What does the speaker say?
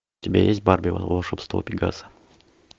у тебя есть барби волшебство пегаса